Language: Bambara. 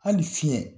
Hali fiɲɛ